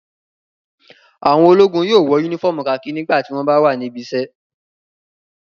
Àwọn ológun yóò wọ únífọ́ọ́mù kakí nígbà tí wọ́n bá wà níbi iṣẹ́.